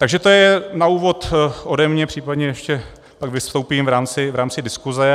Takže to je na úvod ode mě, případně ještě pak vystoupím v rámci diskuse.